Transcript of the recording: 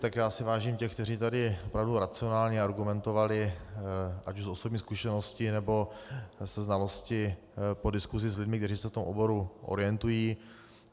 Tak já si vážím těch, kteří tady opravdu racionálně argumentovali ať už osobní zkušeností, nebo ze znalosti po diskusi s lidmi, kteří se v tom oboru orientují.